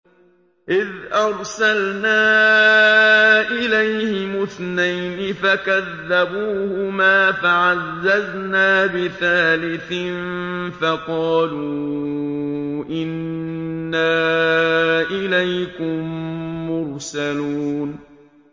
إِذْ أَرْسَلْنَا إِلَيْهِمُ اثْنَيْنِ فَكَذَّبُوهُمَا فَعَزَّزْنَا بِثَالِثٍ فَقَالُوا إِنَّا إِلَيْكُم مُّرْسَلُونَ